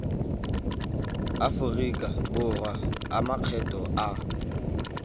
aforika borwa a makgetho a